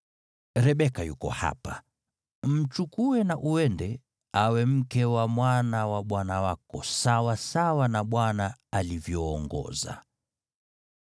Rebeka yuko hapa, mchukue na uende, awe mke wa mwana wa bwana wako, sawasawa na Bwana alivyoongoza.”